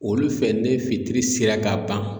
Olu fɛ ne fitiri sera ka ban